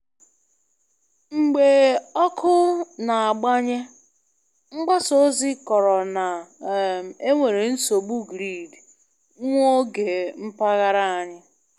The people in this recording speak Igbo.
Mgbe ọkụ na-agbanye, mgbasa ozi kọrọ na um enwere nsogbu grid nwa oge na mpaghara anyị.